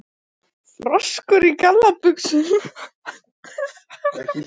Froskur í gallabuxum?